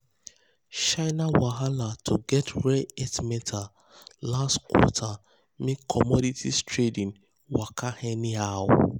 um china wahala to get rare earth metals last quarter make commodity trading waka anyhow.